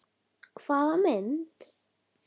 Hvaða mynd?